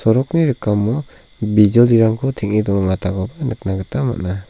sorokni rikamo bijoli-rangko teng·e nikna gita man·a.